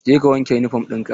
Je ka wanke yunifom ɗin ka!